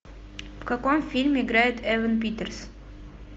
в каком фильме играет эван питерс